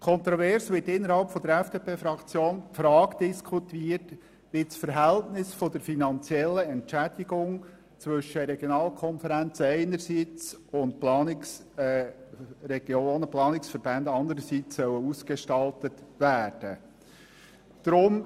Kontrovers wird innerhalb der FDP-Fraktion diskutiert, wie das Verhältnis der finanziellen Entschädigung zwischen Regionalkonferenzen einerseits und Planungsverbänden andererseits ausgestaltet werden soll.